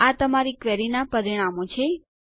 આ તમારી ક્વેરીનાં પરિણામો છે